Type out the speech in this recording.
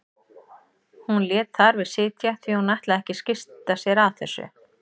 Hún lét þar við sitja því hún ætlaði ekki að skipta sér af þessu.